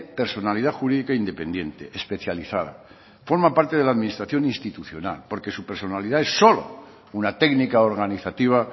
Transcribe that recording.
personalidad jurídica independiente especializada forma parte de la administración institucional porque su personalidad es solo una técnica organizativa